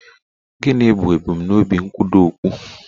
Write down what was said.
Gịnị bụ ebumnobi nkwudo okpu?